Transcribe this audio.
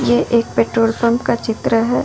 ये एक petrol pump का चित्र है।